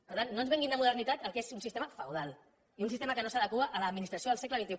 per tant no ens venguin de modernitat el que és un sistema feudal i un sistema que no s’adequa a l’administració del segle xxi